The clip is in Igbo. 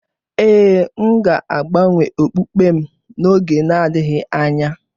Ee, m ga-agbanwe okpukpe m n’oge na-adịghị anya